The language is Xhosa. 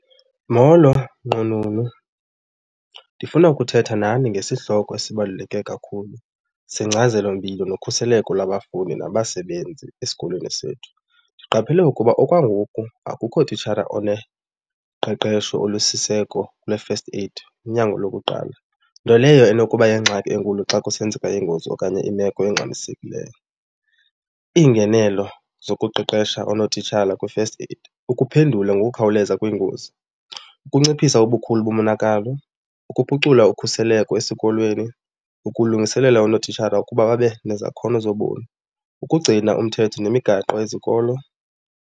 Molo nqununu, ndifuna ukuthetha nani nesihloko esibaluleke kakhulu sengcazelompilo nokhuseleko labafundi nabasebenzi esikolweni sethu. Ndiqaphele ukuba okwangoku akukho titshara oneqeqesho olusiseko lwe-first aid, unyango lokuqala, nto leyo enokuba yingxaki enkulu xa kusenzeka ingozi okanye imeko engxamisekileyo. Iingenelo zokuqeqesha oonotitshara kwi-first aid, ukuphendula ngokukhawuleza kwiingozi, ukunciphisa ubukhulu bomonakalo, ukuphucula ukhuseleko esikolweni, ukulungiselela unotitshara ukuba babe nezakhono zobomi, ukugcina umthetho nemigaqo yezikolo.